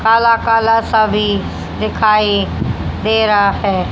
काला काला सा भी दिखाई दे रहा है।